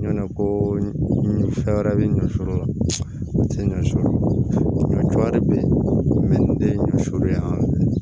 Ɲɔ ko ɲimifɛn wɛrɛ be ɲɔ tɛ ɲɔɛrɛ be yen den ɲɔ yan